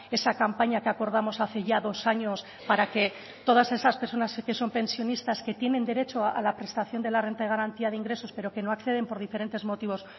esa campaña que acordamos hace ya dos años para que todas esas personas que son pensionistas que tienen derecho a la prestación de la renta de garantía de ingresos pero que no acceden por diferentes motivos